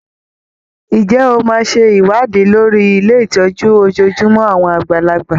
Ǹjẹ́ o máa ṣe ìwádìí lórí ilé ìtọ́jú ojojúmọ́ àwọn àgbàlagbà?